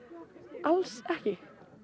alls ekki